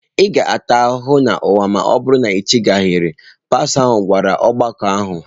Ị ga-ata ahụhụ n'ụwa ma ọ bụrụ na i chegharịghị, pastọ ahụ gwara ọgbakọ ahụ.